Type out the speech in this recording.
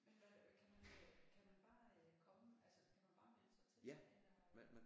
Hvad gør det kan man kan man bare komme altså kan man bare melde sig til eller øh